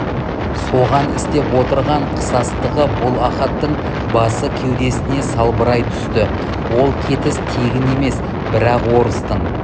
соған істеп отырған қысастығы бұл ахаттың басы кеудесіне салбырай түсті ол кетіс тегін емес бірақ орыстың